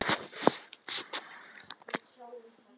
Ég hrósa og fæ hrós.